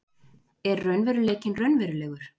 Er raunveruleikinn raunverulegur?